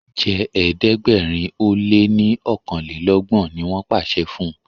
jé ẹ̀ẹ́dẹ̀gbẹ̀rin o lẹ ní okanlelogbon! ní wón pàṣẹ fún.